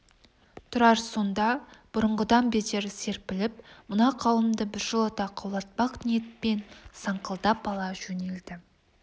тұрар сонда бұрынғыдан бетер серпіліп мына қауымды біржолата қаулатпақ ниетпен саңқылдап ала жөнелді